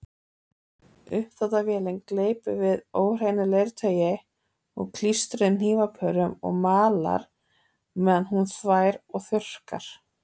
Uppþvottavélin gleypir við óhreinu leirtaui og klístruðum hnífapörum og malar meðan hún þvær og þurrkar.